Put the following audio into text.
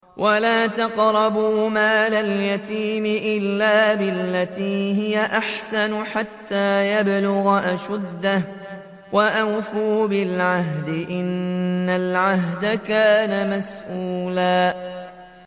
وَلَا تَقْرَبُوا مَالَ الْيَتِيمِ إِلَّا بِالَّتِي هِيَ أَحْسَنُ حَتَّىٰ يَبْلُغَ أَشُدَّهُ ۚ وَأَوْفُوا بِالْعَهْدِ ۖ إِنَّ الْعَهْدَ كَانَ مَسْئُولًا